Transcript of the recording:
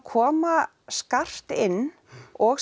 koma skarpt inn og